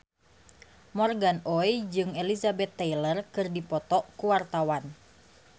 Morgan Oey jeung Elizabeth Taylor keur dipoto ku wartawan